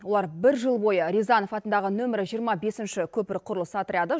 олар бір жыл бойы рязанов атындағы нөмірі жиырма бесінші көпір құрылысы отряды